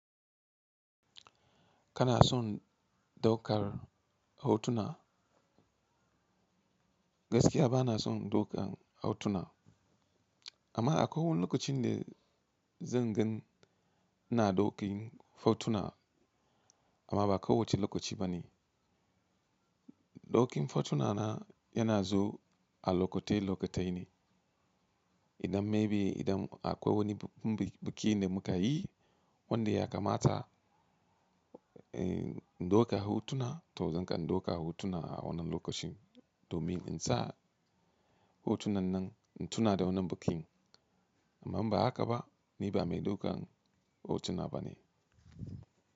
Kana son ɗaukar hotuna? Gaskiya ba na son ɗaukan hotuna, amma akwai wani lokacin da zan gan. Ina ɗauki hotuna amma ba kowacce lokaci ba ne. Ɗaukin hotuna na yana zuwa a lokatai lokatai ne. Idan maybe idan akwai wani bikin da muka yi wanda ya kamata in ɗauka hotuna to zan kan ɗauka hotuna a wannan lokacin domin in sa hotunan nan in tuna da wannan bikin. Amma in ba haka ba, ni ba mai ɗaukan hotuna ba ne.